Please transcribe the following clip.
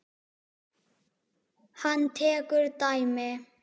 Hann tekur dæmi.